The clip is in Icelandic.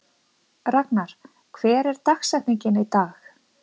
Ragnar, hver er dagsetningin í dag?